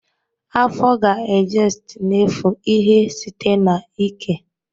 Afo ga-ejest n'efu ihe site na ike